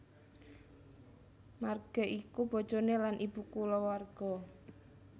Marge iku bojoné lan ibu kulawarga